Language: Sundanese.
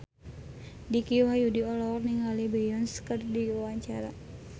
Dicky Wahyudi olohok ningali Beyonce keur diwawancara